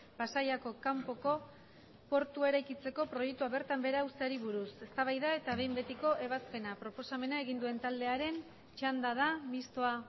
pasaiako kanpoko portua eraikitzeko proiektua bertan behera uzteari buruz eztabaida eta behin betiko ebazpena proposamena egin duen taldearen txanda da mistoa